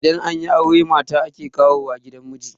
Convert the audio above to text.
idan an yi aure mata ake kawo wa gidan miji